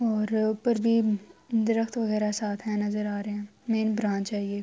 اور پروین درخت وگیرہ ساتھ ہے۔ نظر آ رہے ہے. میں برانچ ہے یہ--